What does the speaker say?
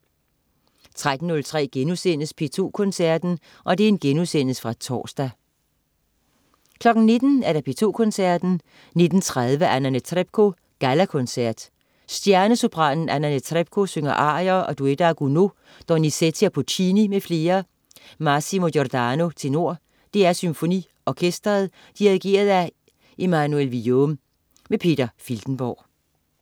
13.03 P2 Koncerten.* Genudsendelse fra torsdag 19.00 P2 Koncerten. 19.30 Anna Netrebko: Gallakoncert. Stjernesopranen Anna Netrebko synger arier og duetter af Gounod, Donizetti og Puccini m.fl. Massimo Giordano, tenor. DR SymfoniOrkestret. Dirigent: Emmanuel Villaume. Peter Filtenborg